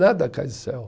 Nada cai do céu.